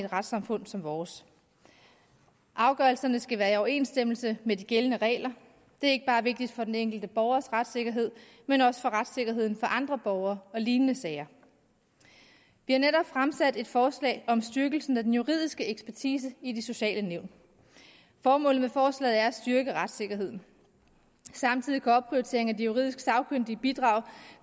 retssamfund som vores afgørelserne skal være i overensstemmelse med de gældende regler det er ikke bare vigtigt for den enkelte borgers retssikkerhed men også for retssikkerheden for andre borgere i lignende sager vi har netop fremsat et forslag om styrkelse af den juridiske ekspertise i de sociale nævn og formålet med forslaget er at styrke retssikkerheden samtidig kan opprioritering af de juridisk sagkyndige bidrage